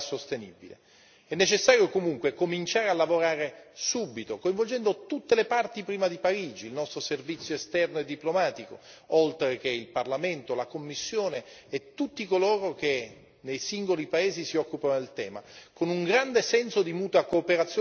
È necessario, comunque, cominciare a lavorare subito, coinvolgendo tutte le parti prima di Parigi il nostro servizio esterno e diplomatico, oltre al Parlamento, alla Commissione e tutti coloro che, nei singoli paesi si occupano del tema, con un grande senso di mutua cooperazione tra le istituzioni.